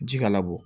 Ji kana bɔ